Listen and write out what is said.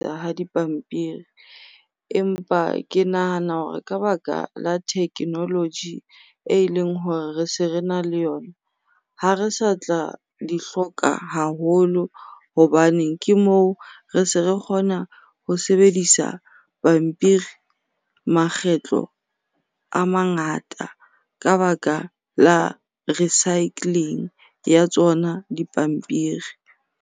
Dipampiri empa ke nahana hore ka baka la thekenoloji eleng hore re se rena le yona, ha re sa tla di hloka haholo. Hobaneng, ke moo re se re kgona ho sebedisa pampiri makgetlo a mangata ka baka la recycling ya tsona dipampiri.